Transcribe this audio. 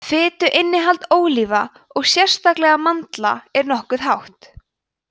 fituinnihald ólíva og sérstaklega mandla er nokkuð hátt